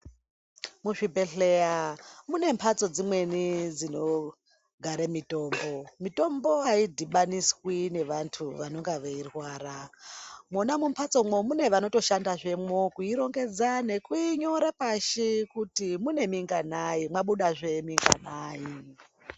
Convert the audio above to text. Muchibhelheya mune mhatso dzimweni dzinogare mitombo, mitombo aidhibaniswi nevantu vanonga veirwara mwona mumhatsomwo munevanotoshandazvemwo kuirongedza nekuinyora pashi kuti muneminganayi mwamudazveminganayi.